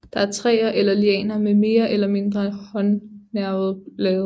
Det er træer eller lianer med mere eller mindre håndnervede blade